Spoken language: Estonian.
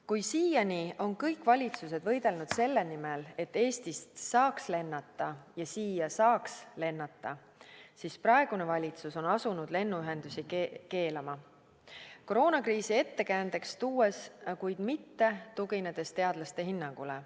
Kui siiani on kõik valitsused võidelnud selle nimel, et Eestist saaks lennata ja siia saaks lennata, siis praegune valitsus on asunud lennuühendusi keelama, tuues koroonakriisi ettekäändeks, kuid mitte tuginedes teadlaste hinnangule.